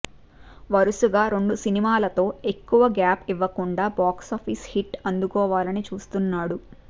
వరుసగా రెండు సినిమాలతో ఎక్కువగా గ్యాప్ ఇవ్వకుండా బాక్స్ ఆఫీస్ హిట్ అందుకోవాలని చూస్తున్నాడు